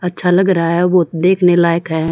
अच्छा लग रहा हैं वो देखने लायक हैं।